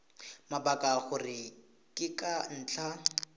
mabaka gore ke ka ntlha